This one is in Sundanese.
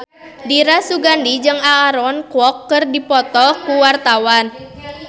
Dira Sugandi jeung Aaron Kwok keur dipoto ku wartawan